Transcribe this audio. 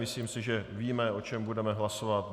Myslím si, že víme, o čem budeme hlasovat.